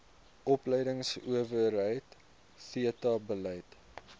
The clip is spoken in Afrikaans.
opleidingsowerheid theta bied